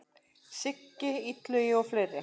Siggi Illuga og fleiri.